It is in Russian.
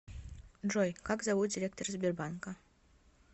джой как зовут директора сбербанка